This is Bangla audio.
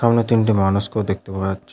সামনে তিনটি মানুষকেও দেখতে পাওয়া যাচ্ছে।